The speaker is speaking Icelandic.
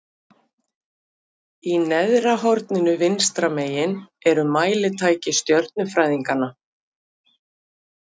Í neðra horninu vinstra megin eru mælitæki stjörnufræðinganna.